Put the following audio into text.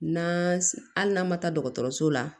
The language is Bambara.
N'an hali n'a ma taa dɔgɔtɔrɔso la